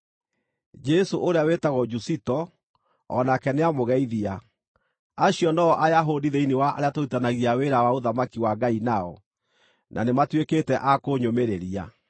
Jesũ ũrĩa wĩtagwo Jusito o nake nĩamũgeithia. Acio no-o Ayahudi thĩinĩ wa arĩa tũrutithanagia wĩra wa ũthamaki wa Ngai nao, na nĩmatuĩkĩte a kũnyũmĩrĩria.